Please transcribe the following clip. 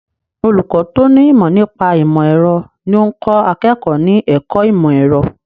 Olùkọ́ tó ní ìmọ̀ nípa ìmọ̀ ẹ̀rọ ní ó ń kọ́ akẹ́kọ̀ọ́ ní ẹ̀kọ́ ìmọ̀ ẹ̀rọ.